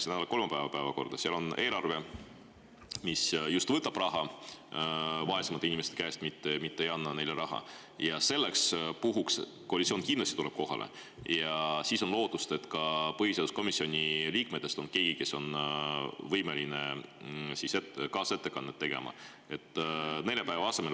Siis on eelarve, mis just võtab raha vaesemate inimeste käest, mitte ei anna neile raha, ja selleks puhuks koalitsioon kindlasti tuleb kohale ja on lootust, et ka põhiseaduskomisjoni liikmetest on kohal keegi, kes on võimeline kaasettekannet tegema.